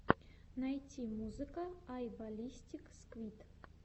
найти музыка ай баллистик сквид